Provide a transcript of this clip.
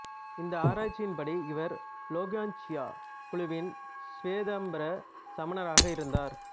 இந்த ஆராய்ச்சி படி இவர் லோங்ககாச்சியா குழுவின் சுவேதாம்பர சமணராக இருந்தார்